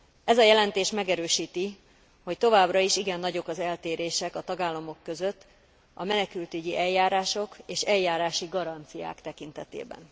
Ez a jelentés megerősíti, hogy továbbra is igen nagyok az eltérések a tagállamok között a menekültügyi eljárások és eljárási garanciák tekintetében.